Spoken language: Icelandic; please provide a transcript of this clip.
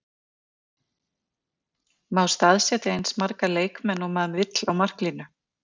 Má staðsetja eins marga leikmenn og maður vill á marklínu?